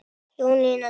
Jónína Dögg.